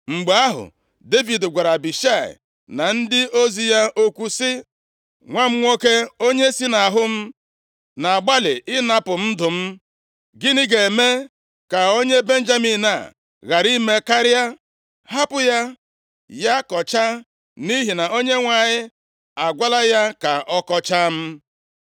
Mgbe ahụ, Devid gwara Abishai na ndị ozi ya okwu sị, “Nwa m nwoke, onye si nʼahụ m na-agbalị ịnapụ m ndụ m. Gịnị ga-eme ka onye Benjamin a ghara ime karịa? Hapụ ya, ya kọchaa, nʼihi na Onyenwe anyị agwala ya ka ọ kọchaa m.